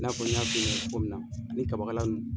I n'a fɔ n y'a f'i ɲɛnɛ cogo min na ni kabakala